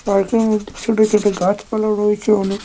পার্কের মধ্যে ছোট ছোট গাছপালা রয়েছে অনেক।